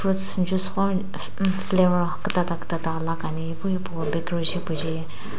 flavour kiitiita kiitita laka ni epu hipo bakery jae --